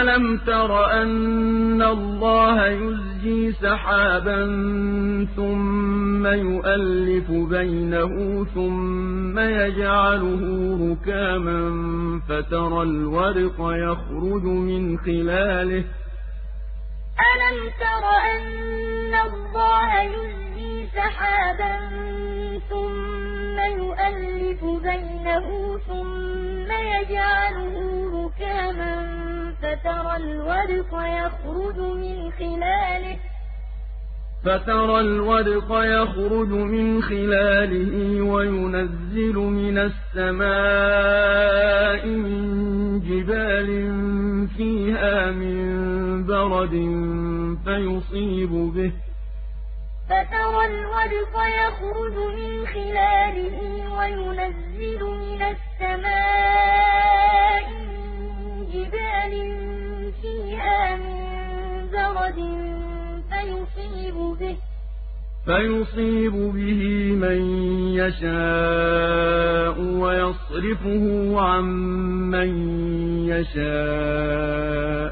أَلَمْ تَرَ أَنَّ اللَّهَ يُزْجِي سَحَابًا ثُمَّ يُؤَلِّفُ بَيْنَهُ ثُمَّ يَجْعَلُهُ رُكَامًا فَتَرَى الْوَدْقَ يَخْرُجُ مِنْ خِلَالِهِ وَيُنَزِّلُ مِنَ السَّمَاءِ مِن جِبَالٍ فِيهَا مِن بَرَدٍ فَيُصِيبُ بِهِ مَن يَشَاءُ وَيَصْرِفُهُ عَن مَّن يَشَاءُ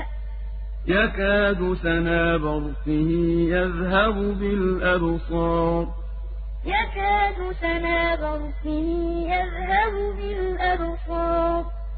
ۖ يَكَادُ سَنَا بَرْقِهِ يَذْهَبُ بِالْأَبْصَارِ أَلَمْ تَرَ أَنَّ اللَّهَ يُزْجِي سَحَابًا ثُمَّ يُؤَلِّفُ بَيْنَهُ ثُمَّ يَجْعَلُهُ رُكَامًا فَتَرَى الْوَدْقَ يَخْرُجُ مِنْ خِلَالِهِ وَيُنَزِّلُ مِنَ السَّمَاءِ مِن جِبَالٍ فِيهَا مِن بَرَدٍ فَيُصِيبُ بِهِ مَن يَشَاءُ وَيَصْرِفُهُ عَن مَّن يَشَاءُ ۖ يَكَادُ سَنَا بَرْقِهِ يَذْهَبُ بِالْأَبْصَارِ